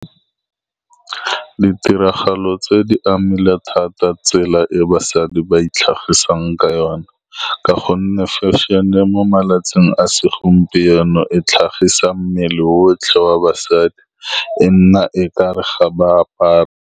Ditiragalo tse di amile thata tsela e basadi ba itlhagisang ka yone, ka gonne fashion-e mo malatsing a segompieno e tlhagisang mmele otlhe wa basadi, e nna e kare ga ba apara.